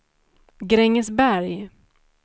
Grängesberg